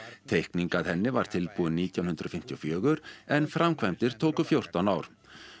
teikningin að henni var tilbúin nítján hundruð fimmtíu og fjögur en framkvæmdir tóku fjórtán ár